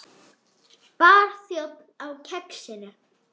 Barþjónn á Kexinu?